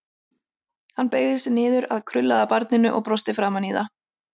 Hann beygði sig niður að krullaða barninu og brosti framan í það.